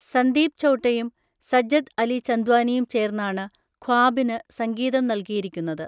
സന്ദീപ് ചൗട്ടയും സജ്ജദ് അലി ചന്ദ്വാനിയും ചേർന്നാണ് ഖ്വാബിന് സംഗീതം നൽകിയിരിക്കുന്നത്.